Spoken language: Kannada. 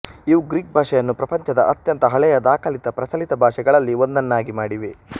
ಇವು ಗ್ರೀಕ್ ಭಾಷೆಯನ್ನು ಪ್ರಂಪಚದ ಅತ್ಯಂತ ಹಳೆಯ ದಾಖಲಿತ ಪ್ರಚಲಿತ ಭಾಷೆಗಳಲ್ಲಿ ಒಂದನ್ನಾಗಿ ಮಾಡಿವೆ